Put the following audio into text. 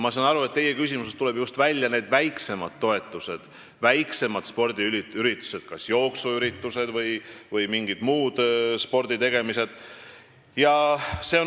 Ma saan aru, et teie küsimusest tuleb välja just see väiksemate toetuste teema, st väiksemad spordiüritused, jooksuüritused või mingid muud sporditegemised.